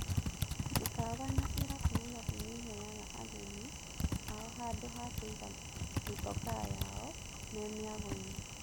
Mĩkawa na irabu Nairobi nĩheaga ageni ao handũ ha kũiga mitokaa yao me miagoinĩ.